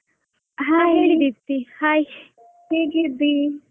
hai ಹೇಗಿದ್ದಿ?